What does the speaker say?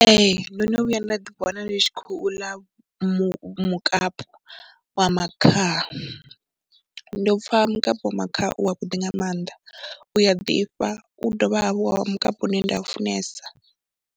Ee ndo no vhuya nda ḓiwana ndi tshi khou ḽa mu mukapu wa makhaha, ndi u pfha mukapi wa makhaha wavhuḓi nga mannḓa, u a ḓifha u dovha hafhu wa mukapu une nda u funesa.